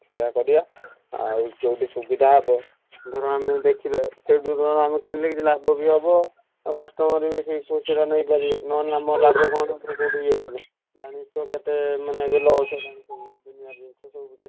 ସେୟା କରିଆ। ଆଉ ଯୋଉଠି ସୁବିଧା ହବ ଧର ଆମେ ଦେଖିବା ସେଇଠୁ ଧର ଆମେ କିଣିଲେ କିଛି ଲାଭ ବି ହବ ଆଉ customer ବି ବେଶୀ ଖୁସିରେ ନେଇପାରିବେ ନହେଲେ ଆମର ଲାଭ କଣ ହବ କୋଉଠି ଇଏ କଲେ ଜାଣିଛୁ ତ କେତେ ମାନେ ଏବେ loss ସବୁ ।